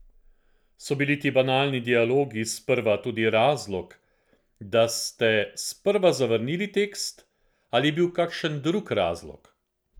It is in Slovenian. So bili ti banalni dialogi sprva tudi razlog, da ste sprva zavrnili tekst ali je bil kakšen drug razlog?